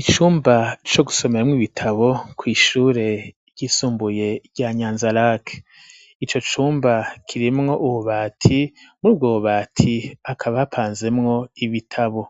Icumba co gusomeramwo ibitabo ku ishure ry'isumbuye rya nyanza lak ico cumba kirimwo ububati mubwo bubati hakaba apanzemwo ibitabo